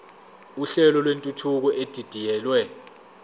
uhlelo lwentuthuko edidiyelwe